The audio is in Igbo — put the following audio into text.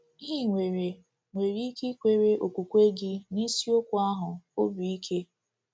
Ị nwere nwere ike ikwere okwukwe gị n’Isiokwu ahụ obi ike.